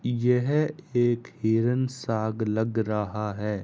यह एक हिरण सा लग रहा है।